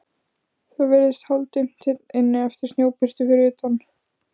Það virðist hálfdimmt hér inni eftir snjóbirtuna fyrir utan.